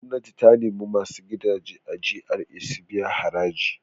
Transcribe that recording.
Gwamnati ta nemi masu gidaje a GRA su biya haraji.